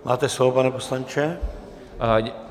Máte slovo, pane poslanče.